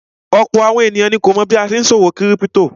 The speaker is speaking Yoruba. Ọ̀pọ̀ àwọn èèyàn ni kò tíì mọ̀ bí a tí n ṣòwò kírípítò